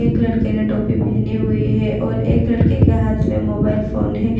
एक लड़के ने टोपी पहनी हुई है और एक लड़के के हाथ में मोबाइल फोन है।